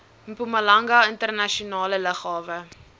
mpumalanga internasionale lughawe